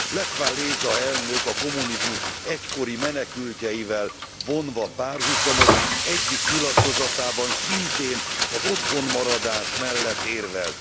Lech Wałęsa elnök a kommunizmus egykori menekültjeivel vonva párhuzamot, egyik nyilatkozatában szintén az otthonmaradás mellett érvelt.